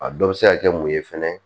A dɔ bɛ se ka kɛ mun ye fɛnɛ